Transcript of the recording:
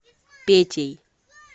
петей